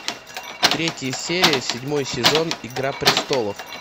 третья серия седьмой сезон игра престолов